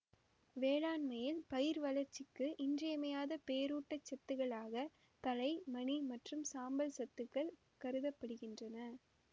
வேளாண்மையில் பயிர் வளர்ச்சிக்கு இன்றியமையாத பேரூட்டச்சத்துக்களாக தழை மணி மற்றும் சாம்பல் சத்துக்கள் கருத படுகின்றன